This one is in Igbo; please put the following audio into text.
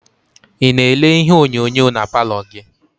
Ị na-ele ihe onyonyo na paalọ gị?